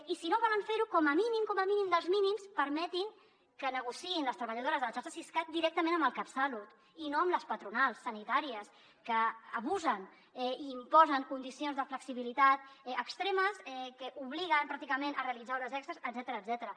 i si no volen fer ho com a mínim com a mínim dels mínims permetin que negociïn les treballadores de la xarxa siscat directament amb el catsalut i no amb les patronals sanitàries que abusen i imposen condicions de flexibilitat extremes que obliguen pràcticament a realitzar hores extres etcètera